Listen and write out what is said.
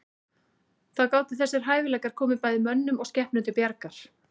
Þá gátu þessir hæfileikar komið bæði mönnum og skepnum til bjargar.